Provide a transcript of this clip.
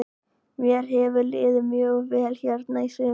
Mér hefur liðið mjög vel hérna í sumar.